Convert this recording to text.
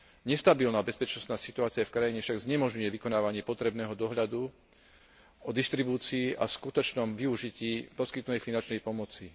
Nestabilná bezpečnostná situácia v krajine však znemožňuje vykonávanie potrebného dohľadu o distribúcií a skutočnom využití poskytnutej finančnej pomoci.